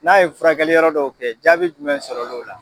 N'a ye furakɛliyɔrɔ dɔw kɛ jaabi jumɛn sɔrɔl'o la?